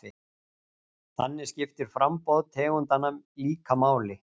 Þannig skiptir framboð tegundanna líka máli.